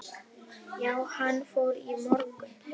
Já, hann fór í morgun